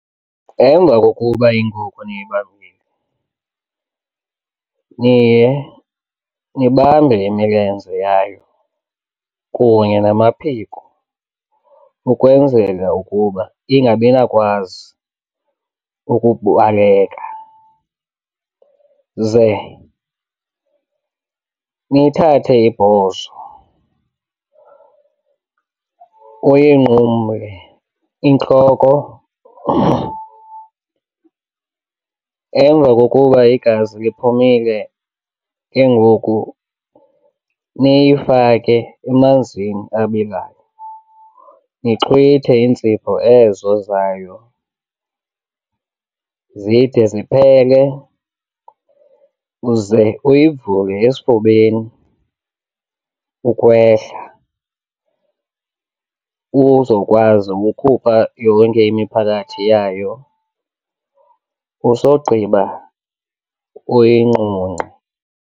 Emva kokuba inkukhu niyibambile niye ndibambe imilenze yayo kunye namaphiko ukwenzela ukuba ingabi nakwazi ukubaleka, ze nithathe ibhozo uyinqumle intloko. Emva kokuba igazi liphumile ke ngoku niyifake emanzini abilayo nixhwithe iintsipho ezo zayo zide ziphele uze uyivule esifubeni ukwehla uzokwazi ukukhupha yonke imiphakathi yayo. Usogqiba uyinqunqe.